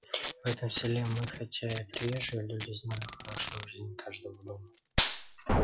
в этом селе мы хотя и приезжие люди знали хорошо жизнь каждого дома